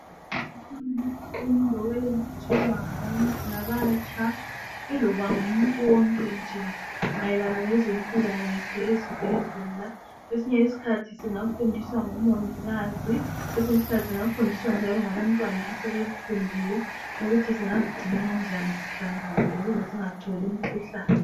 Zikhona izifundo ezitshelwa ngabatsha iloba ngumuntu wonke nje mayelana ngezempilakahle ezibhedlela kwesinye isikhathi singafundiswa ngomongikazi kwesinye isikhathi singafundiswa ngabantwana asebekufundile ukuthi singazigcina kanjani sihlanzekile ukuze singatholi imikhuhlane.